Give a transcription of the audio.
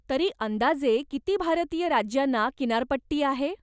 तरी अंदाजे किती भारतीय राज्यांना किनारपट्टी आहे?